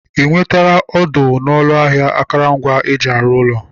I nwetala ọdụ n'ụlọ ahịa akụrụngwa eji arụ ụlọ?